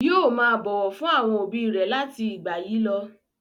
Yóò máa bọ̀wọ̀ fún àwọn òbí rẹ̀ láti ìgbà yìí lọ.